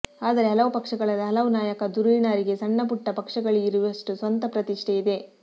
ಆದರೆ ಹಲವು ಪಕ್ಷಗಳಲ್ಲಿ ಹಲವು ನಾಯಕ ಧುರೀಣರಿಗೆ ಸಣ್ಣ ಪುಟ್ಟ ಪಕ್ಷಗಳಿಗಿರುವಷ್ಟು ಸ್ವಂತ ಪ್ರತಿಷ್ಠೆ ಇದೆ